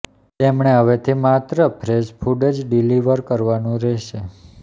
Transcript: તેમણે હવેથી માત્ર ફ્રેશ ફૂડ જ ડિલિવર કરવાનું રહેશે